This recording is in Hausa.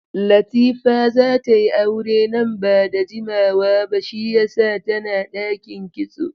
Latifa za ta yi aure nan ba da jimawa ba shiyasa tana ɗakin kitso